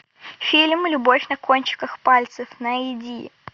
фильм любовь на кончиках пальцев найди